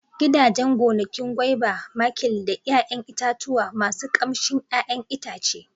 Gidajen gonakin guaiba, makil da 'ya'yan itatuwa masu ƙamshin 'ya'yan itace.